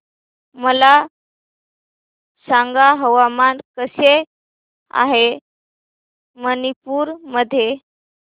मला सांगा हवामान कसे आहे मणिपूर मध्ये